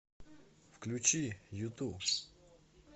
включи юту